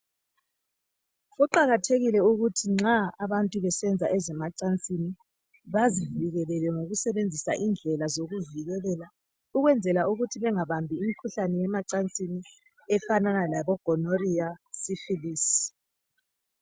Kuqakathekile ukuthi nxa abantu besenza ezemacansini bazivikelele ngokusebenzisa indlela zokuvikelela ukwenzela ukuthi bengabambi imikhuhlale yemacansini efanana lebo gonoriya, sifilisi.